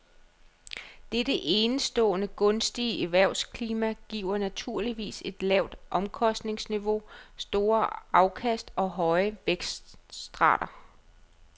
Dette enestående gunstige erhvervsklima giver naturligvis et lavt omkostningsniveau, store afkast og høje vækstrater.